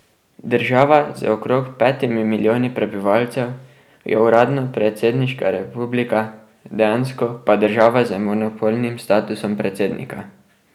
Država z okrog petimi milijoni prebivalcev je uradno predsedniška republika, dejansko pa država z monopolnim statusom predsednika.